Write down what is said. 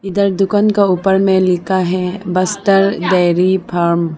उधर दुकान का ऊपर में लिखा है बस्तर डेरी फार्म ।